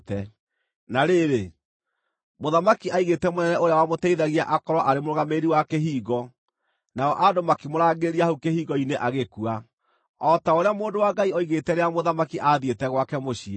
Na rĩrĩ, mũthamaki aigĩte mũnene ũrĩa wamũteithagia akorwo arĩ mũrũgamĩrĩri wa kĩhingo, nao andũ makĩmũrangĩrĩria hau kĩhingo-inĩ, agĩkua, o ta ũrĩa mũndũ wa Ngai oigĩte rĩrĩa mũthamaki aathiĩte gwake mũciĩ.